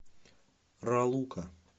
ралука